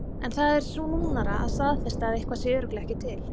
En það er snúnara að staðfesta að eitthvað sé örugglega ekki til.